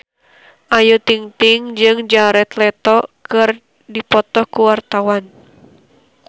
Ayu Ting-ting jeung Jared Leto keur dipoto ku wartawan